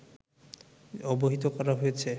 অবহিত করা হয়েছে